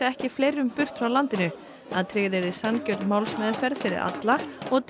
ekki fleirum frá landinu að tryggð yrði sanngjörn málsmeðferð fyrir alla og